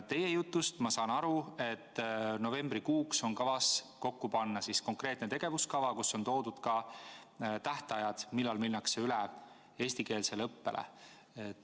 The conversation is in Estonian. Teie jutust ma saan aru, et novembrikuuks on kavas kokku panna konkreetne tegevuskava, kus on esitatud ka tähtajad, millal minnakse üle eestikeelsele õppele.